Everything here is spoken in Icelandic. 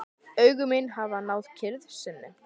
Augu mín hafa náð kyrrð sinni.